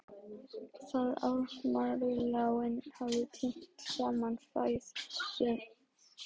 Þegar aðmírállinn hafði tínt saman féð sagði hann stundarhátt